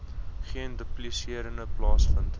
geen duplisering plaasvind